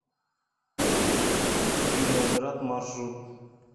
виноград маршрут